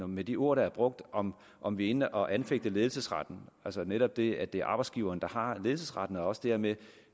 med de ord der er brugt om om vi er inde og anfægte ledelsesretten altså netop det at det er arbejdsgiveren der har ledelsesretten og også dermed